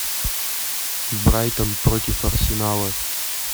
брайтон против арсенала